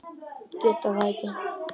Geta það ekki.